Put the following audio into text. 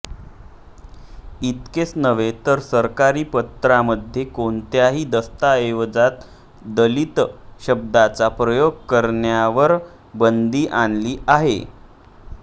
इतकेच नव्हे तर सरकारी पत्रामध्ये कोणत्याही दस्ताऐवजात दलित शब्दाचा प्रयोग करण्यावर बंदी आणली आहे